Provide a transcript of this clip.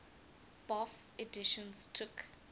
bofh editions took